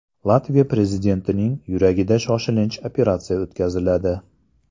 Latviya prezidentining yuragida shoshilinch operatsiya o‘tkaziladi.